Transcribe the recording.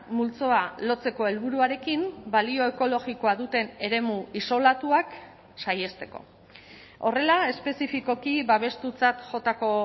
multzoa lotzeko helburuarekin balio ekologikoa duten eremu isolatuak saihesteko horrela espezifikoki babestutzat jotako